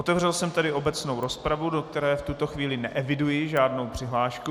Otevřel jsem tedy obecnou rozpravu, do které v tuto chvíli neeviduji žádnou přihlášku.